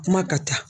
Kuma ka ca